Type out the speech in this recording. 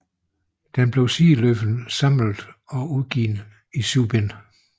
Den blev sideløbende samlet og udgivet i syv bind